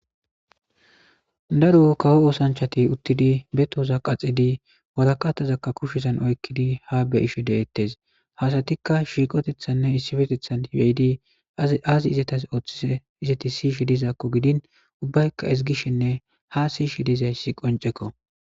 daro kawo oosanchati uttidi betoza qaxidi waraqatazakka kushizan oykkidi ha beyisho de7ettes hasatikka shiiqotethanne issifetethan hibeyidi aazi izatas ooththi izati siishi dizaakko gidin ubbaykka isigishenne ha siishi dizayssi qoncekko